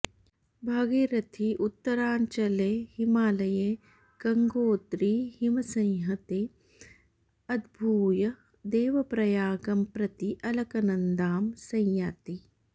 भागीरथी उत्तराञ्चले हिमालये गङ्गोत्रीहिमसंहतेः उद्भूय देवप्रयागं प्रति अलकनन्दाम् संयाति